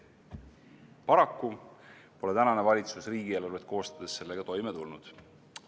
Paraku pole tänane valitsus riigieelarvet koostades sellega toime tulnud.